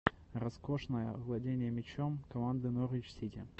роскошная владение мячом команды норвич сити